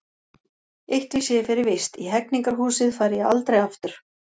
Eitt vissi ég fyrir víst: í Hegningarhúsið færi ég aldrei aftur.